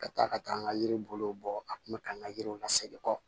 Ka taa ka taa n ka yiri bolow bɔ a kun bɛ ka n ka yiriw lasegin kɔ